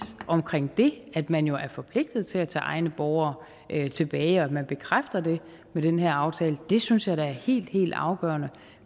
det at man jo er forpligtet til at tage egne borgere tilbage og at man bekræfter det med den her aftale synes jeg da er helt helt afgørende